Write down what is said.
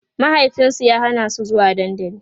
mahaifinsu ya Hana su zuwa dandali